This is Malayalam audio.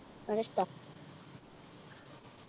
അതിഷ്ട